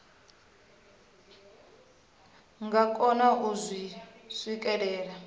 nga kona u zwi swikelela